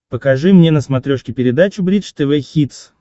покажи мне на смотрешке передачу бридж тв хитс